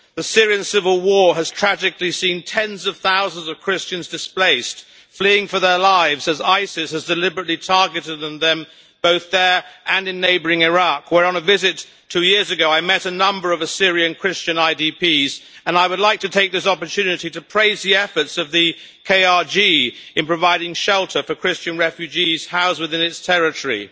The Syrian civil war has tragically seen tens of thousands of Christians displaced and fleeing for their lives as Isis has deliberately targeted them both there and in neighbouring Iraq where, on a visit two years ago, I met a number of Assyrian Christian IDPs. I would like to take this opportunity to praise the efforts of the KRG in providing shelter for Christian refugees housed within its territory.